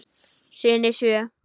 Syni sjö.